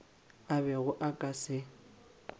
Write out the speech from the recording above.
a bego a ka se